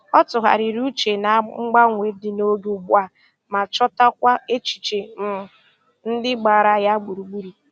Ọ tụgharịrị uche na mgbanwe dị n'oge ugbu a ma chọtakwa echiche um ndị gbara ya gburugburu.